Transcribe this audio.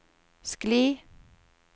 skli